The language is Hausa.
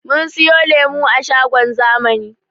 Mun siyo lemo a shagon zamani